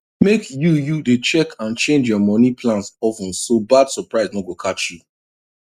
make you you dey check and change your money plans of ten so bad surprise no go catch you